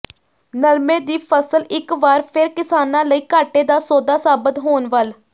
ਨਰਮੇ ਦੀ ਫ਼ਸਲ ਇਕ ਵਾਰ ਫਿਰ ਕਿਸਾਨਾਂ ਲਈ ਘਾਟੇ ਦਾ ਸੌਦਾ ਸਾਬਤ ਹੋਣ ਵੱਲ